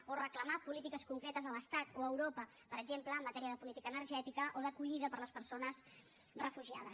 o reclamar polítiques concretes a l’estat o a europa per exemple en matèria de política energètica o d’acollida per a les persones refugiades